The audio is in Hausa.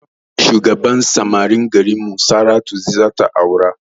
Shugaban samarin garinmu saratu zata aura